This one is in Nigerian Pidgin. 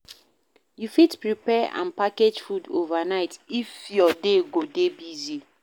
You fit prepare and package food overnight if your day go dey busy